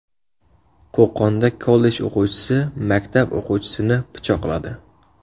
Qo‘qonda kollej o‘quvchisi maktab o‘quvchisini pichoqladi.